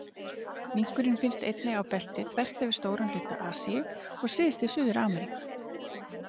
Minkurinn finnst einnig á belti þvert yfir stóran hluta Asíu og syðst í Suður-Ameríku.